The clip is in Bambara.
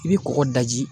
I bɛ kɔkɔ daji